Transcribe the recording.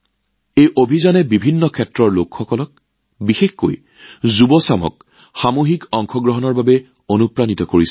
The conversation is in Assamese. এই অভিযানে বিভিন্ন শ্ৰেণীৰ লোকসকলক বিশেষকৈ যুৱকযুৱতীসকলকো সামূহিক অংশগ্ৰহণৰ বাবে অনুপ্ৰাণিত কৰিছে